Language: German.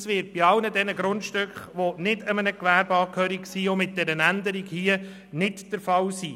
Das wird bei allen Grundstücken, die nicht einem Gewerbe angehören, auch mit diesen Änderungen hier nicht der Fall sein.